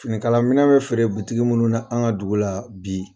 Finikala minɛn bɛ fɛɛrɛ minnu na an ka dugu la bi